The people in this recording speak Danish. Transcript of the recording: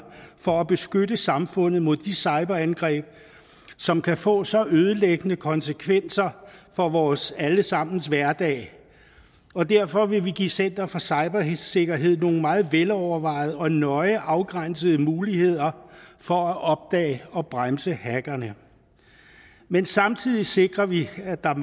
for at beskytte samfundet mod de cyberangreb som kan få så ødelæggende konsekvenser for vores alle sammens hverdag og derfor vil vi give center for cybersikkerhed nogle meget velovervejede og nøje afgrænsede muligheder for at opdage og bremse hackerne men samtidig sikrer vi at der